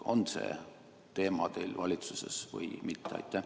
On see teema teil valitsuses üleval või mitte?